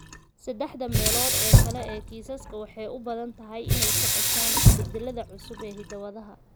Saddexda meelood ee kale ee kiisaska waxay u badan tahay inay ka dhashaan isbeddellada cusub ee hidda-wadaha.